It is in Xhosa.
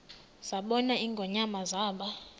zabona ingonyama zaba